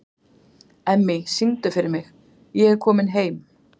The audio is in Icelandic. Emmý, syngdu fyrir mig „Ég er kominn heim“.